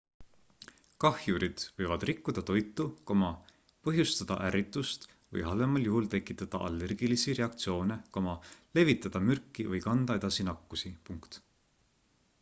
kahjurid võivad rikkuda toitu põhjustada ärritust või halvemal juhul tekitada allergilisi reaktsioone levitada mürki või kanda edasi nakkusi